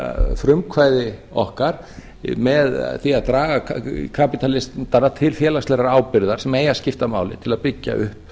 frumkvæði okkar með því að draga kapitalismann bara til félagslegrar ábyrgðar sem eigi að skipta máli